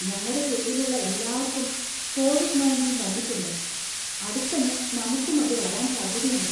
ഞങ്ങടെ തെരുവിലുള്ള എല്ലാർക്കും കോവിഡ് ണയൻറ്റീൻ വന്നിട്ടുണ്ട് , അടുത്തന്നെ നമുക്കും അത് വരാൻ സാധ്യതയുണ്ട് .